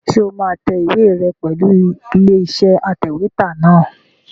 Ṣé o máa tẹ ìwé rẹ pẹ̀lú ilé-iṣẹ́ atẹ̀wétà náà?